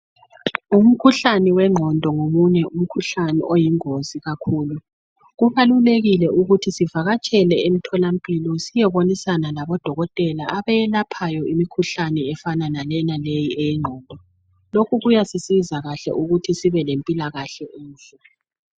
Umkhuhlane wengqondo ngomunye umkhuhlane oyingozi kakhulu. Kubalulekile ukuthi sivakatshele emtholampilo siyebonisana labodokotela abelaphayo imikhuhlane efana layenaleyo eyengqondo. Lokhubkuyasisiza ukuthi sibelempilakahle enhle.